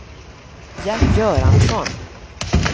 Gert Göransson